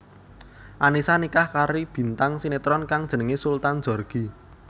Annisa nikah kari bintang sinetron kang jenengé Sultan Djorghi